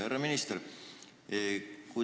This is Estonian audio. Härra minister!